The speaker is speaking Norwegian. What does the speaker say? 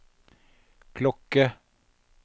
klokke